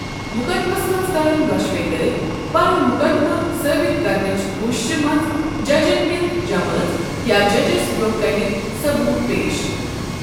مقدمس منٛز کَرن دۄشوَے دٔرۍ پَنُن مُقدمہٕ ثٲبت کرنچ کوششِہ منٛز جَجن ہنٛز جمٲژ یا جَجس برٛونٛہہ کنہِ ثبوت پیش۔